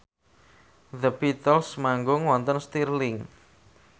The Beatles manggung wonten Stirling